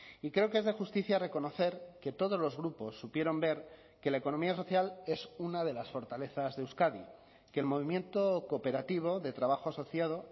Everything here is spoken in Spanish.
y creo que es de justicia reconocer que todos los grupos supieron ver que la economía social es una de las fortalezas de euskadi que el movimiento cooperativo de trabajo asociado